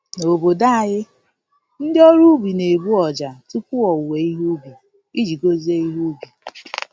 N’obodo anyị, ndị ọrụ ubi na-egbu ọjà tupu owuwe ihe ubi, iji gozie ihe ubi.